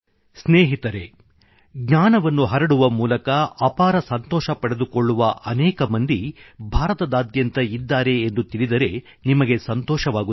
ಸ್ನೇಹಿತರೇ ಜ್ಞಾನವನ್ನು ಹರಡುವ ಮೂಲಕ ಅಪಾರ ಸಂತೋಷ ಪಡೆದುಕೊಳ್ಳುವ ಅನೇಕ ಮಂದಿ ಭಾರತದಾದ್ಯಂತ ಇದ್ದಾರೆ ಎಂದು ತಿಳಿದರೆ ನಿಮಗೆ ಸಂತೋಷವಾಗುತ್ತದೆ